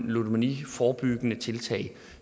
ludomaniforebyggende tiltag